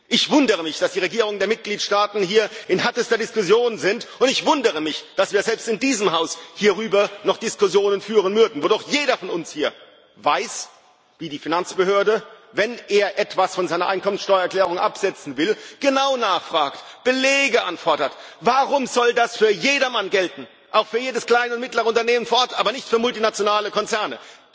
Ich wundere mich, dass die Regierungen der Mitgliedsstaaten hier in härterster Diskussion sind, und ich wundere mich, dass wir selbst in diesem Haus hierüber noch Diskussionen führen mögen, wo doch jeder von uns hier weiß, wie die Finanzbehörde, wenn er etwas von seiner Einkommensteuererklärung absetzen will, genau nachfragt, Belege anfordert. Warum soll das für jedermann gelten, auch für jedes kleine und mittlere Unternehmen, aber nicht für multinationale Konzerne?